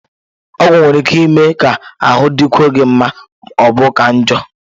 Ọgwụ nwere ike ime ka ahụ dịkwuo gị mma ma ọ bụ ka njọ